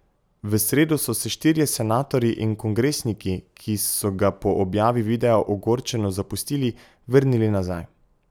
V sredo so se štirje senatorji in kongresniki, ki so ga po objavi videa ogorčeno zapustili, vrnili nazaj.